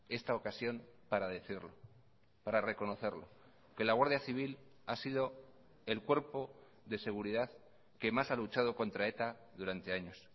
esta ocasión para decirlo para reconocerlo que la guardia civil ha sido el cuerpo de seguridad que más ha luchado contra eta durante años